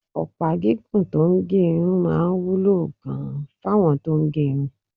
Ọ̀pá gígùn tó ń gé irun máa wúlò gan-an fáwọn tó ń gẹrun